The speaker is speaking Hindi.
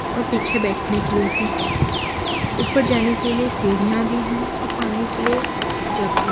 और पीछे बैठने के लिए भी है ऊपर जाने के लिए सीढ़ियां भी है और पानी के लिए जग भी --